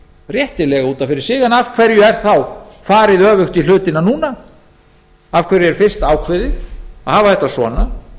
réttilega út af fyrir sig en af hverju er þá farið öfugt í hlutina núna af hverju er fyrst ákveðið að hafa þetta svona